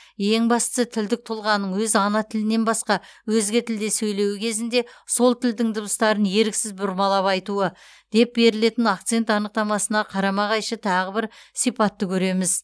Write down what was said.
ең бастысы тілдік тұлғаның өз ана тілінен басқа өзге тілде сөйлеуі кезінде сол тілдің дыбыстарын еріксіз бұрмалап айтуы деп берілетін акцент анықтамасына қарама қайшы тағы бір сипатты көреміз